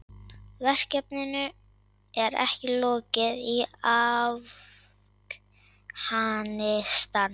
Verkinu ekki lokið í Afghanistan